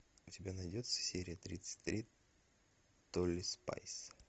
у тебя найдется серия тридцать три тотали спайс